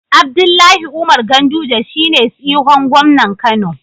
Abdullahi Umar ganduje shine tsihon gomnan kano